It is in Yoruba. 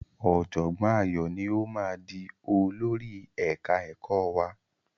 Ọ̀jọ̀gbọ́n Ayọ̀ ni ó máa di olórí ẹ̀ka ẹ̀kọ́ wa.